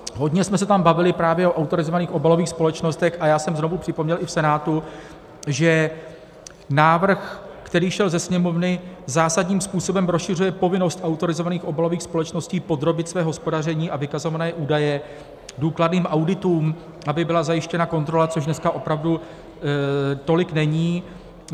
Hodně jsme se tam bavili právě o autorizovaných obalových společnostech a já jsem znovu připomněl i v Senátu, že návrh, který šel ze Sněmovny, zásadním způsobem rozšiřuje povinnost autorizovaných obalových společností podrobit své hospodaření a vykazované údaje důkladným auditům, aby byla zajištěna kontrola, což dneska opravdu tolik není.